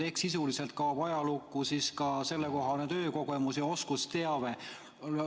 Ehk sisuliselt kaob ajalukku siis ka sellekohane töökogemus ja oskusteave.